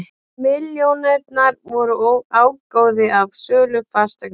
Milljónirnar voru ágóði af sölu fasteignar